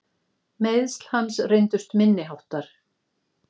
Meiðsl hans reyndust minni háttar.